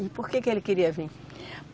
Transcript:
E por que que ele queria vir?